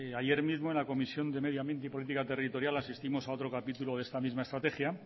ayer mismo en la comisión de medio ambiente y política territorial asistimos a otro capítulo de esta mista estrategia